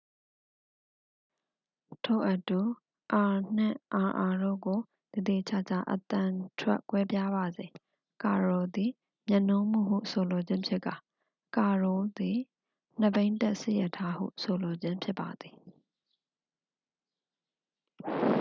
ထို့အတူ အာ နှင့် အာအာတို့ကို သေသေချာချာ အသံထွက်ကွဲပြားပါစေ ကာရို' သည် မြတ်နိုးမှုဟု ဆိုလိုခြင်းဖြစ်ကာ ကာရိုး' သည် နှစ်ဘီးတပ်စစ်ရထားဟု ဆိုလိုခြင်းဖြစ်ပါသည်